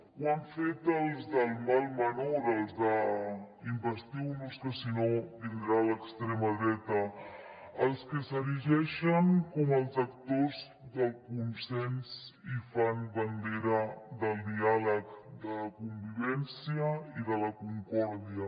ho han fet els del mal menor els d’ investiu nos que si no vindrà l’extrema dreta els que s’erigeixen com els actors del consens i fan bandera del diàleg de la convivència i de la concòrdia